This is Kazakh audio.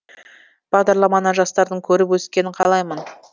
бағдарламаны жастардың көріп өскенін қалаймын